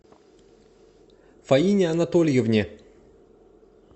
фаине анатольевне